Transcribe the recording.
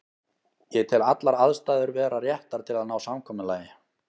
Ég tel allar aðstæður vera réttar til að ná samkomulagi.